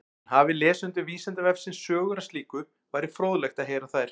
En hafi lesendur Vísindavefsins sögur af slíku væri fróðlegt að heyra þær.